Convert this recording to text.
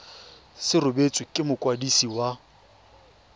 se rebotswe ke mokwadisi wa